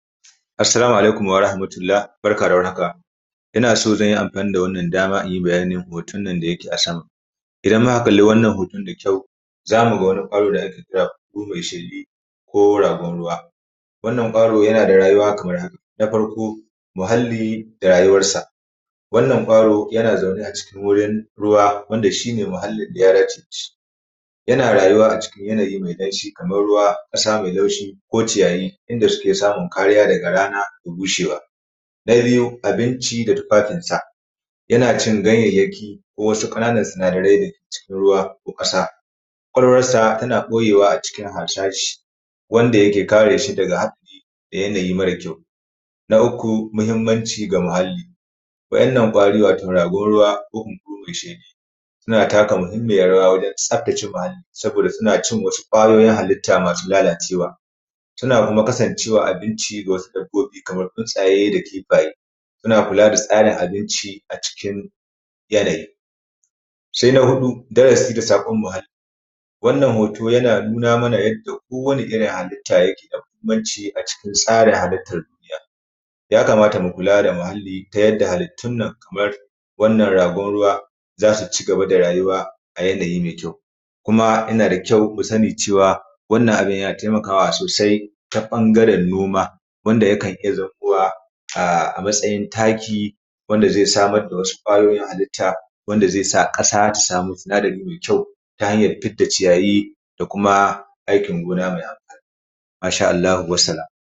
Assalamu alaikum warahmatulla, barka da warhaka. Ina son zan yi amfani da wannan damar nayi bayanin hoton nan da yake a sama, idan muka kalli wannan hoton da kyau, zamu ga wani ƙwaro da ake kira buhu mai shedi ko ragon ruwa, wannan ƙwaro yana da rayuwa kamar haka na farko, muhalli da rayuwarsa, wannan ƙwaro yana zaune a cikin gurin ruwa wanda shi ne muhallin daya dace da shi yana rayuwa acikin yanayi mai damshi, kamar ruwa, ƙasa mai laushi ko ciyayi, inda suke samun kariya daga rana da bushewa. Na biyu, abinci da tufafin sa, yana cin ganyayyaki ko wasu ƙananan sinadarai dake cikin ruwa ko ƙasa. ƙwaƙwalwarsa tana ɓoyewa acikin harsashi, wanda yake kare shi daga yanayi mara kyau. Na uku, muhimmanci ga muhalli, waɗannan ƙwari wato ragon ruwa ko buhu-mai-shedi suna taka muhimmiyar rawa wajen tsaftace muhalli sabida suna cin wasu ƙwayoyin halitta masu lalacewa, suna kuma kasancewa abinci ga wasu dabbobi kamar tsuntsaye da kifaye. Suna kula da tsarin abinci a cikin yanayi, sai na huɗu, darasi da saƙon muhalli, wannan hoton yana nuna mana yadda ko wani irin halitta yake da muhimmanci a cikin tsarin halittar duniya. Ya kamata mu kula da muhalli, ta yadda halittun nan kamar wannan ragon ruwazasu cigaba da rayuwa a yanayi mai kyau. Kuma yana da kyau mu sani wannan abun yana taimakawa sosai ta ɓangaren noma wanda yak an iya zamowa a matsayin taki wanda zai samar da wasu ƙwayoyin halitta wanda zai sa ƙasa ta samu sinadari mai kyau ta hanyar fidda ciyayi da kuma aikin gona mai amfani. Masha Allahu wassalam.